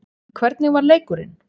Hvernig var leikurinn?